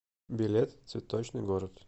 билет цветочный город